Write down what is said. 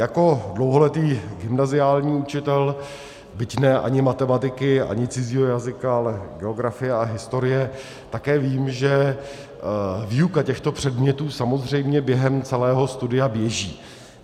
Jako dlouholetý gymnaziální učitel, byť ne ani matematiky, ani cizího jazyka, ale geografie a historie, také vím, že výuka těchto předmětů samozřejmě během celého studia běží.